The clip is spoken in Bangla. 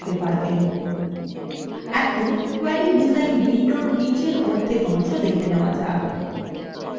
এখন query ডিজাইন window নিচের অর্ধেক অংশ দেখা যাক